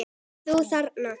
Þú þarna.